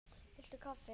Viltu kaffi?